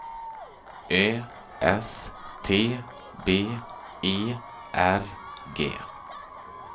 Ö S T B E R G